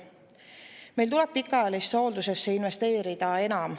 Meil tuleb pikaajalisse hooldusse enam investeerida.